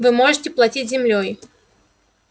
вы можете платить землёй